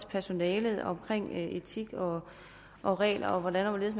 personalet om etik og og regler og hvordan og hvorledes